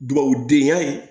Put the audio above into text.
Dugawudenya